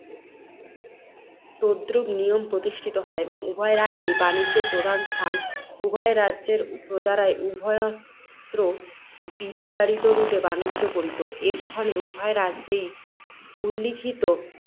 তদ্রূপ নিয়ম প্রতিষ্ঠিত হয় এবং উভয় রাজ্যই বাণিজ্যের প্রধান স্থান। উভয় রাজ্যের প্রজারাই উভয়ত্র বিস্তারিত রূপে বাণিজ্য করিত। এক্ষণে, উভয় রাজ্যেই উল্লিখিত